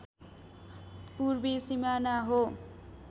पूर्वी सिमाना हो